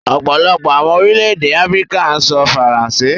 Ọ̀pọ̀lọpọ̀ awọn orílẹ̀-èdè Afíríkà n sọ̀ Faransé